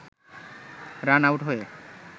run-out হয়ে